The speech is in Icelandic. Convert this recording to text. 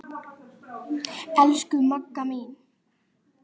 Elsku Magga mín.